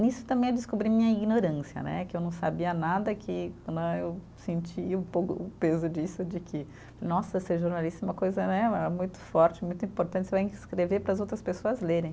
Nisso também eu descobri minha ignorância né, que eu não sabia nada, que né eu senti um pouco o peso disso, de que, nossa, ser jornalista uma coisa né, muito forte, muito importante, você vai escrever para as outras pessoas lerem.